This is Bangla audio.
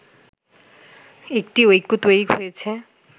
একটি ঐক্য তৈরি হয়েছে